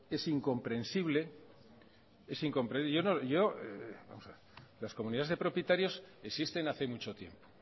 es incomprensible las comunidades de propietarios existen hace mucho tiempo